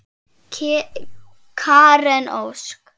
Karen Ósk.